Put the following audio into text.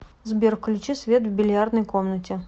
сбер включи свет в бильярдной комнате